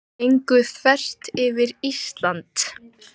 Gengu þvert yfir Ísland